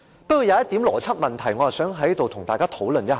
不過，有一個邏輯問題，我想在此跟大家討論一下。